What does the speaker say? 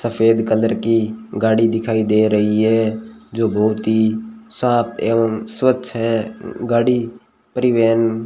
सफेद कलर की गाड़ी दिखाई दे रही है जो बहोत ही साफ एवं स्वच्छ है गाड़ी परिवहन --